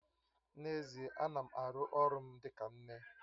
N'ezie, ana m aru ọrụ m dịka nne